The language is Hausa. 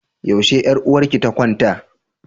Yaushe yar uwarki ta kwanta?